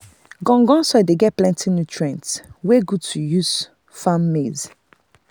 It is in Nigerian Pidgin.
gum gum soil dey get plenty nutrient wey good to use farm maize.